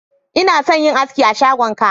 Ina son yin aski a shagon ka.